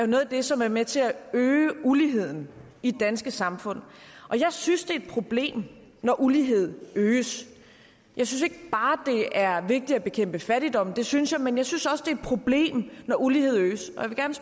noget af det som er med til at øge uligheden i det danske samfund og jeg synes det er et problem når uligheden øges jeg synes ikke bare det er vigtigt at bekæmpe fattigdom det synes jeg men jeg synes også det er et problem når uligheden øges